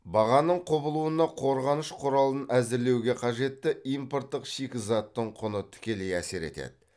бағаның құбылуына қорғаныш құралын әзірлеуге қажетті импорттық шикізаттың құны тікелей әсер етеді